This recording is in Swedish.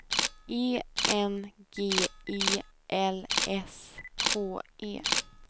E N G E L S K E